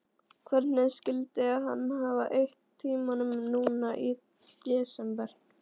Hvernig skyldi hann hafa eytt tímanum núna í desember?